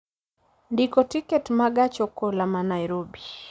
ndiko tiket ma gach okoloma Nairobi